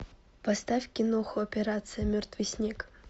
поставь киноху операция мертвый снег